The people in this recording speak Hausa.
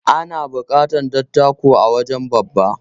Ana buƙatar dattako a wajen babba.